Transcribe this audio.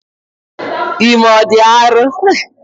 Ime ọ dị arọ?